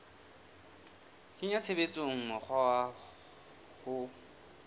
kenya tshebetsong mokgwa wa ho